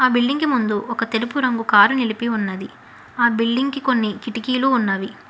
ఆ బిల్డింగ్కి ముందు ఒక తెలుపు రంగు కారు నిలిపి ఉన్నది ఆ బిల్డింగ్ కి కొన్ని కిటికీలు ఉన్నవి.